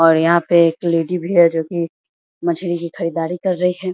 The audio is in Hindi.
और यहां पे एक लेडी भी है जो कि मछली की खरीदारी कर रही है।